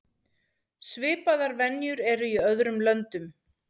Svipaðar venjur eru í öðrum löndum.